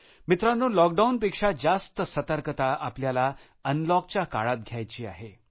मित्रांनो लॉकडाऊनपेक्षा जास्त सतर्कता आपल्याला अनलॉकच्या काळात घ्यायची आहे